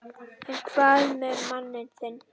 En hvað með manninn þinn?